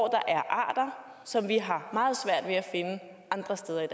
er arter som vi har meget svært ved at finde andre steder i